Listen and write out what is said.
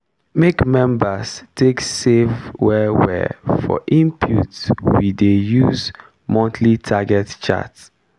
make members take save well well for input we dey use monthly target chart.